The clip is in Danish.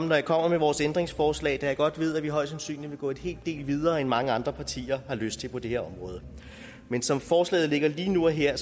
jeg kommer med vores ændringsforslag da jeg godt ved at vi højst sandsynligt vil gå en hel del videre end mange andre partier har lyst til på det her område men som forslaget ligger lige nu og her